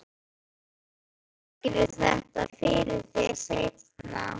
Ég útskýri þetta fyrir þér seinna.